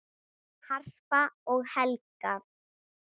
Harpa og Helga.